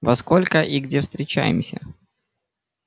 во сколько и где встречаемся